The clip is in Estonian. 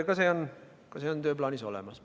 Ka see on tööplaanis olemas.